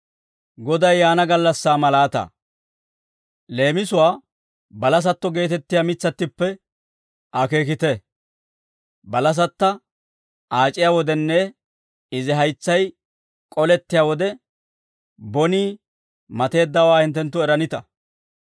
«Leemisuwaa balasatto geetettiyaa mitsattippe akeekite; balasatta aac'iya wodenne izi haytsay k'olettiyaa wode, bonii mateeddawaa hinttenttu eranita.